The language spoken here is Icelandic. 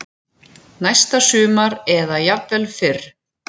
Næsta sumar eða jafnvel fyrr.